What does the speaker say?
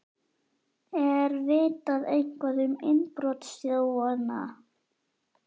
Er vitað eitthvað um innbrotsþjófana?